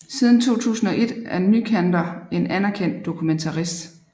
Siden 2001 er Nycander en anerkendt dokumentarist